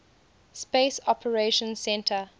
space operations centre